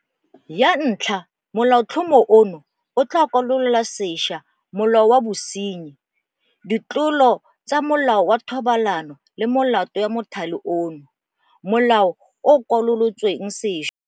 Ya ntlha Molaotlhomo ono o tla kwalola sešwa Molao wa Bosenyi, Ditlolo tsa Molao wa Thobalano le Melato ya Mothale ono, Molao o o Kwalolotsweng Sešwa.